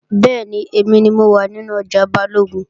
Bẹ́ẹ̀ni, èmi ni mo wà nínú ọjà Balógun